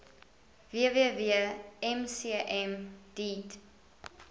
www mcm deat